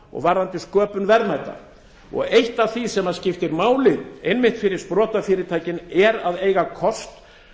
og verðmæta og eitt af því sem skiptir máli einmitt fyrir sprotafyrirtækin er að eiga kost